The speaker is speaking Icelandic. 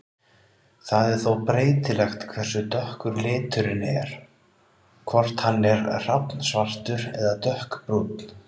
Það er þó breytilegt hversu dökkur liturinn er, hvort hann er hrafnsvartur eða dökkbrúnn.